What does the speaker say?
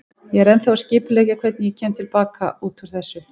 Ég er ennþá að skipuleggja hvernig ég kem til baka út úr þessu.